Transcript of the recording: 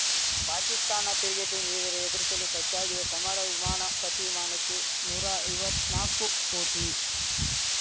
ಪಾಕಿಸ್ತಾನ ತಿರುಗೇಟು ನೀಡಿದರೆ ಎದುರಿಶಲು ಸಜ್ಜಾಗಿದ್ದ ಸಮರ ವಿಮಾನ ಪ್ರತಿ ವಿಮಾನಕ್ಕೆ ನೂರಾ ಐವತ್ನಾಕು ಕೋಟಿ